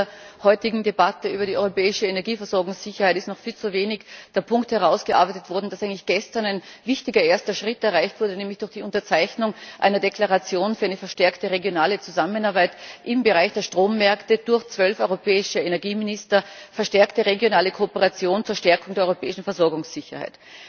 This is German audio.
Im Zuge der heutigen Debatte über die europäische Energieversorgungssicherheit ist noch viel zu wenig der Punkt herausgearbeitet worden, dass gestern ein wichtiger erster Schritt erreicht wurde, nämlich durch die Unterzeichnung einer Deklaration für eine verstärkte regionale Zusammenarbeit im Bereich der Strommärkte durch 12 europäische Energieminister verstärkte regionale Kooperation, Verstärkung der europäischen Versorgungssicherheit.